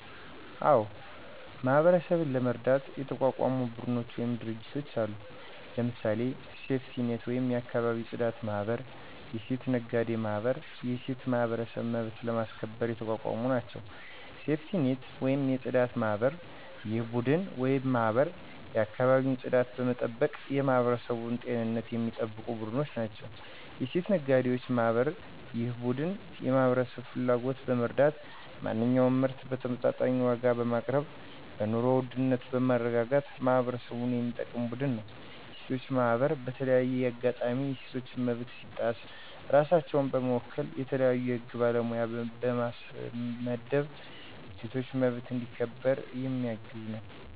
አዎ ! ማህበረሠብን ለመርዳት የተቋቋሙ ቡድኖች ወይም ድርጅቶች አሉ። ለምሳሌ፦ ሴፍቲኔት ወይም የአካባቢ የፅዳት ማህበር፣ የሴት ነጋዴ ማህበር፣ የሴቶች ማህበር መብትን ለማስከበር የተቋቋሙ ናቸው። -ሴፍቲኔት(የፅዳት) ማህበር፦ ይህ ቡድን ወይም ማህበር የአካባቢን ፅዳት በመጠበቅ የማህበረሠብን ጤንነት የሚጠብቁ ቡድኖች ናቸው። -የሴት ነጋዴዎች ማህበር፦ ይህ ቡድን የማህበረሠብን ፍላጎት በመረዳት ማንኛውንም ምርት በተመጣጣኝ ዋጋ በማቅረብ በኑሮ ውድነትን በማረጋጋት ማህበረሠብን የሚጠቅም ቡድን ነው። -የሴቶች ማህበር፦ በተለያዩ አጋጣሚዎች የሴቶች መብት ሲጣስ ራሳቸውን በመወከል የተለያዩ የህግ ባለሙያ በማስመደብ የሴቶች መብት እንዲ ከበር የሚያግዝ ነው።